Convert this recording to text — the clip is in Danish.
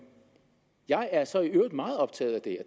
jeg er så i øvrigt meget optaget af det